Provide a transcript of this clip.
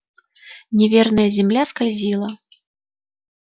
неверная земля скользила